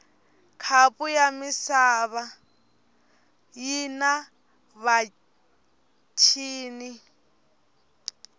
khapu yamisava yinavatjini